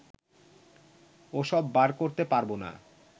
ওসব বার করতে পারবো না